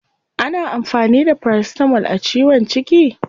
Ana amfani da paracetamol a ciwon ciki?